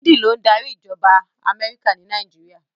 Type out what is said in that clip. Biden ló ń darí ìjọba Amẹ́ríkà ni Nàìjíríà.